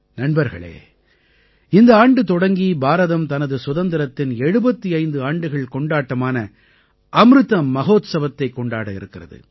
நண்பர்களே இந்த ஆண்டு தொடங்கி பாரதம் தனது சுதந்திரத்தின் 75 ஆண்டுகள் கொண்டாட்டமான அமிர்த மஹோத்சவத்தைக் கொண்டாட இருக்கிறது